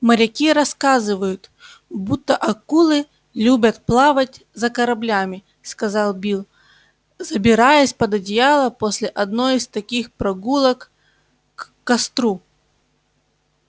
моряки рассказывают будто акулы любят плавать за кораблями сказал билл забираясь под одеяло после одной из таких прогулок к костру